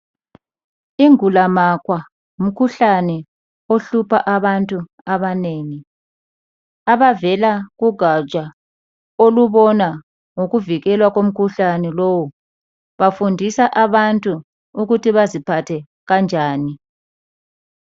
Ingulamakhwa ngumkhuhlane ohlupha abantu abanengi ,abavela kugatsha olubona ngokuvikelwa komkhuhlane lowo bafundisa abantu ukuthi baziphathe kanjani.